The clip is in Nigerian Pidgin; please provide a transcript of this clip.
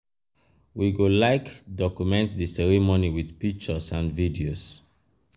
um we go like document di ceremony with pictures and videos.